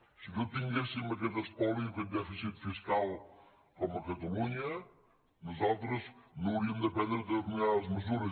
si no tinguéssim aquest espoli o aquest dèficit fiscal com a catalunya nosaltres no hauríem de prendre determinades mesures